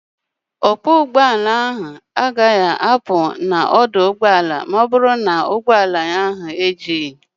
Ọkwọ ụgbọala ahụ agaghị apụ n'ọdụ ụgbọala a ma ọ bụrụ na ụgbọala ya ejughị.